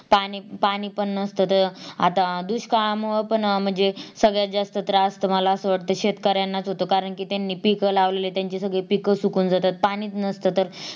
पाणी पाणी पण नसत तर आता दुष्काळमुळ पण अं म्हणजे सगळ्यात जास्त त्रास तर मला असं वाटत शेतकऱ्यांनाच होतो कारण मला अस वाटत कि त्यांनी पीक लावलेली पीक सुकून जातात पाणीच नसत तर